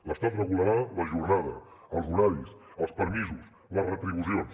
l’estat regularà la jornada els horaris els permisos les retribucions